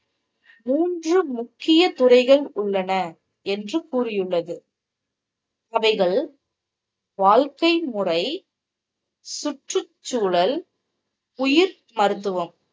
மூன்று முக்கிய துறைகள் உள்ளன என்று கூறியுள்ளது. அவைகள் வாழ்க்கை முறை, சுற்றுச்சூழல், உயிர் மருத்துவம்.